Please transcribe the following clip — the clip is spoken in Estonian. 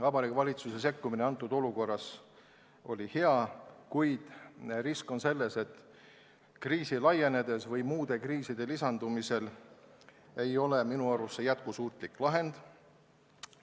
Vabariigi Valitsuse sekkumine sellises olukorras oli hea, kuid risk on selles, et kriisi laienedes või muude kriiside lisandudes ei ole see minu arvates jätkusuutlik lahendus.